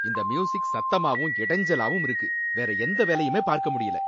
இந்த மியூசிக் சத்தமாவும் இடைஞ்சலாவும் இருக்கு. வேற எந்த வேலையுமே பார்க்க முடியல.